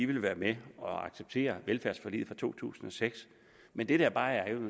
vil være med og accepterer velfærdsforliget fra to tusind og seks men det der er